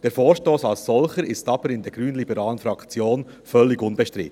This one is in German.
Der Vorstoss als solcher ist aber in der grünliberalen Fraktion völlig unbestritten.